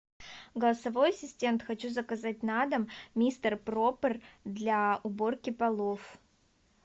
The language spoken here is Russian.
голосовой ассистент хочу заказать на дом мистер пропер для уборки полов